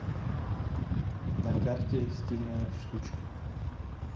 на карте стильная штучка